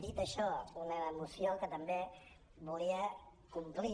dit això una moció que també volia complir